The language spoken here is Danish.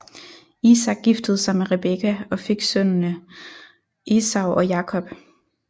Isak giftede sig med Rebekka og fik sønnene Esau og Jakob